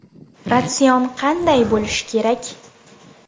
Ratsion qanday bo‘lishi kerak?